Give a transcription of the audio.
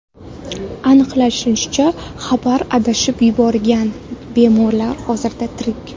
Aniqlanishicha, xabarlar adashib yuborilgan bo‘lib, bemorlar hozirda tirik.